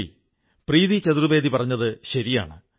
നന്ദി പ്രീതി ചതുർവ്വേദി പറഞ്ഞതു ശരിയാണ്